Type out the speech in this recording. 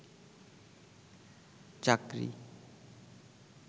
চাকরি